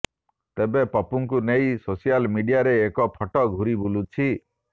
ତେବେ ପପୁଙ୍କୁ ନେଇ ସୋସିଆଲ ମିଡିଆରେ ଏକ ଫଟୋ ଘୁରି ବୁଲୁଛି